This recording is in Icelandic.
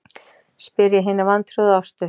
spyr ég hina vantrúuðu Ástu.